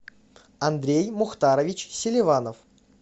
андрей мухтарович селиванов